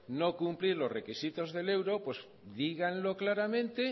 no cumplir los requisitos del euro díganlo claramente